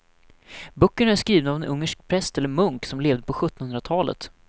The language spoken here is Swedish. Böckerna är skrivna av en ungersk präst eller munk som levde på sjuttonhundratalet.